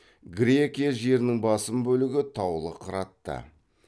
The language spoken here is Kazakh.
грекия жерінің басым бөлігі таулы қыратты